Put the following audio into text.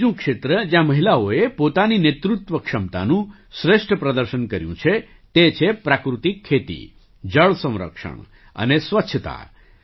એક બીજું ક્ષેત્ર જ્યાં મહિલાઓએ પોતાની નેતૃત્વ ક્ષમતાનું શ્રેષ્ઠ પ્રદર્શન કર્યું છે તે છે પ્રાકૃતિક ખેતી જળ સંરક્ષણ અને સ્વચ્છતા